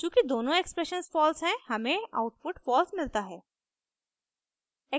चूँकि दोनों expressions false हैं हमें आउटपुट फॉल्स मिलता है